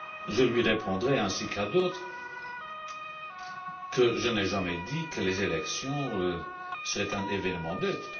Je lui répondrai, ainsi qu'à d'autres, que je n'ai jamais dit que les élections seraient un événement neutre.